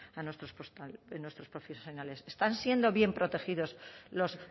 a nuestros profesionales están siendo bien protegidos los